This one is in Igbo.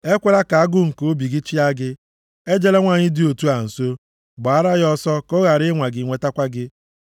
Ekwela ka agụụ nke obi gị chịa gị; ejela nwanyị dị otu a nso; gbaara ya ọsọ, ka ọ ghara ịnwa gị nwetakwa gị.